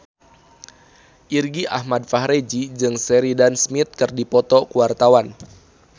Irgi Ahmad Fahrezi jeung Sheridan Smith keur dipoto ku wartawan